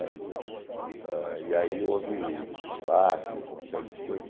Mas eh... E aí houve massacres, uma série de coisas.